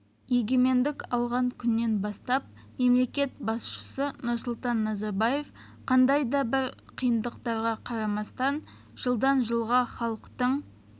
егемендік алған күннен бастап мемлекет басшысы нұрсұлтан назарбаев қандай да бір қиындықтарға қарамастан жылдан жылға халықтың